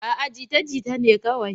A'a jita-jita ne kawai.